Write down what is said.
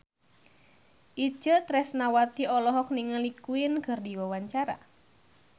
Itje Tresnawati olohok ningali Queen keur diwawancara